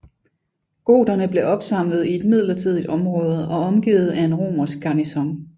Goterne blev opsamlet i et midlertidigt område og omgivet af en romersk garnison